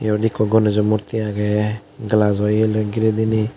iyot ekku gonejo murti agey glajo yelloi ghirey diney.